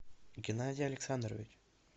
геннадий александрович